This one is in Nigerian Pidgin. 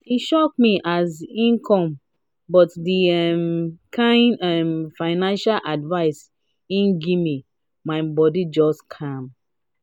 e shock me as im come but the um kind um financial advice him gimme my bodi just calm.